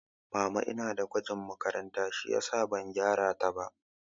Mama ina da gwajin makaranta shiyasa ban gyara ta ba